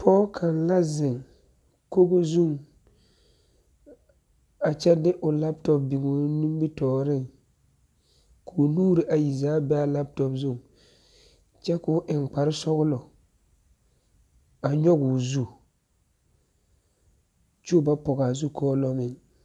Pɔge kaŋa zeŋ kogo zuŋ, a kyɛ de o laptop biŋ o nimmitɔɔreŋ, koo nuur ayi zaa be a laptop zu, kyɛ koo eŋ kparre sɔgelɔ, a nyɔgoo zu, kyoo ba pɔgaa zukɔɔlommeŋ.